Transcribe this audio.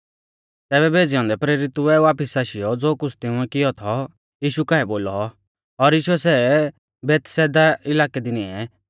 तैबै भेज़ै औन्दै प्रेरितुऐ वापिस आशीयौ ज़ो कुछ़ तिंउऐ कियौ थौ यीशु काऐ बोलौ और यीशुऐ सै अलग कौरीयौ बैतसैदा इलाकै दी निऐं